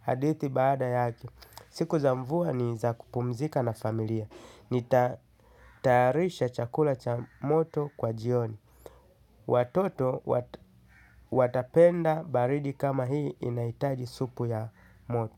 hadithi baada yake. Siku za mvua ni za kupumzika na familia. Nita tayarisha chakula cha moto kwa jioni. Watoto watapenda baridi kama hii inaitaji supu ya moto.